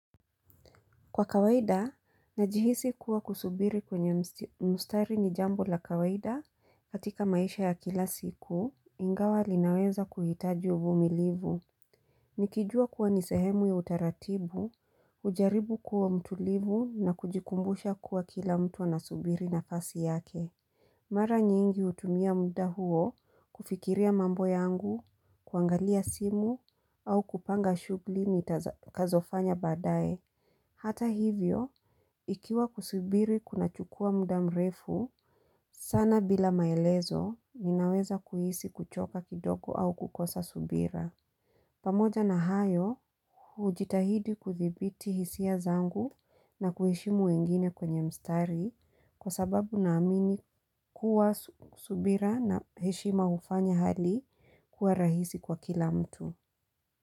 Kwa kawaida, najihisi kuwa kusubiri kwenye mstari ni jambo la kawaida, katika maisha ya kila siku, ingawa linaweza kuhitaji uvumilivu. Nikijua kuwa nisehemu ya utaratibu, ujaribu kuwa mtulivu na kujikumbusha kuwa kila mtu wa nasubiri nafasi yake. Mara nyingi utumia muda huo kufikiria mambo yangu, kuangalia simu au kupanga shugli ni kazofanya badaye. Hata hivyo, ikiwa kusibiri kuna chukua muda mrefu, sana bila maelezo, ninaweza kuhisi kuchoka kidogo au kukosa subira. Pamoja na hayo, ujitahidi kuthibiti hisia zangu na kuheshimu wengine kwenye mstari kwa sababu na amini kuwa subira na heshima ufanya hali kuwa rahisi kwa kila mtu.